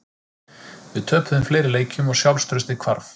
Við töpuðum fleiri leikjum og sjálfstraustið hvarf.